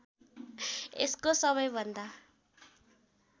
यसको सबैभन्दा